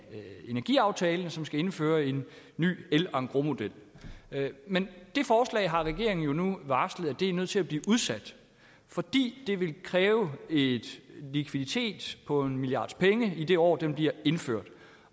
energiaftalen som skal indføre en ny el engrosmodel men det forslag har regeringen jo nu varslet er nødt til at blive udsat fordi det vil kræve en likviditet på omkring en milliards penge i det år det bliver indført